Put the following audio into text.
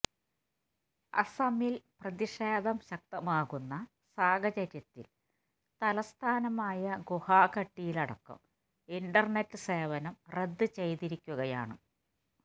അസമില് പ്രതിഷേധം ശക്തമാകുന്ന സാഹചര്യത്തില് തലസ്ഥാനമായ ഗുഹാഹട്ടിയിലടക്കം ഇന്റര്നെറ്റ് സേവനം റദ്ദ് ചെയ്തിരിക്കുകയാണ്